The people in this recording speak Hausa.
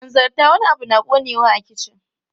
Hanzarta, wani abu na ƙonewa a kicin!